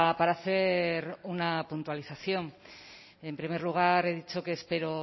para hacer una puntualización en primer lugar he dicho que espero